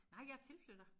Nej jeg er tilflytter